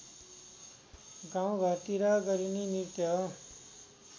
गाउँघरतिर गरिने नृत्य हो